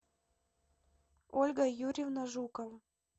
ольга юрьевна жукова